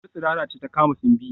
Wutar tsirara ce ta kama Simbi